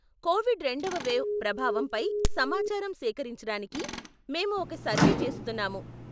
Covid రెండవ wave ప్రభావం పై సమాచారం సేకరించడానికి మేము ఒక సర్వే చేస్తున్నాము .